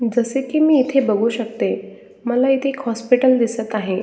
जसे की मी इथे बघू शकते मला इथे एक हॉस्पिटल दिसत आहे.